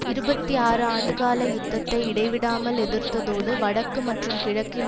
இருபத்தி ஆறு ஆண்டுகால யுத்தத்தை இடைவிடாமல் எதிர்த்ததோடு வடக்கு மற்றும் கிழக்கில்